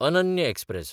Ananya express